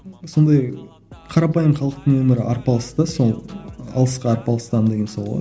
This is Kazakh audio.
сондай қарапайым халықтың өмірі арпалыс та сол алысқа арпалыстан деген сол ғой